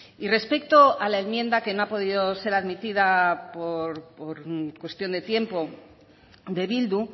y respecto a la enmienda que no ha podido ser admitida por cuestión de tiempo de bildu